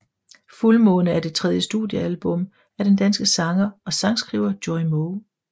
Fuldmåne er det tredje studiealbum af den danske sanger og sangskriver Joey Moe